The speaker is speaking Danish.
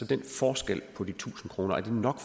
den forskel på de tusind kroner nok